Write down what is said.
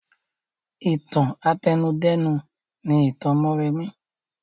Ìtàn àtẹnudẹ́nu ni ìtàn mọ́remí